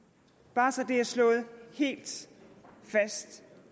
bare så det er slået helt og